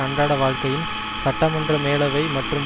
அன்றாட வாழ்க்கையின் சட்டமன்ற மேலவை மற்றும்